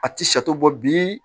A ti sato bɔ bi